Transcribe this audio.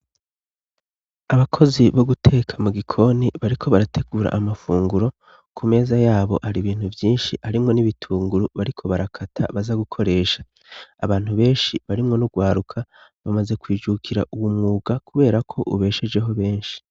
Abakozi bo guteka mu gikoni bariko barategura amafunguro ku meza yabo hari ibintu byinshi arimwo n'ibitunguru bariko barakata baza gukoresha abantu benshi barimwo n'ugwaruka bamaze kwijukira uwu mwuga kubera ko ubeshejeho benshi.